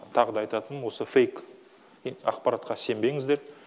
тағы да айтатыным осы фейк ақпаратқа сенбеңіздер